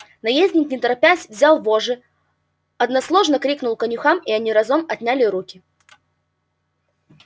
наездник не торопясь взял вожжи односложно крикнул конюхам и они разом отняли руки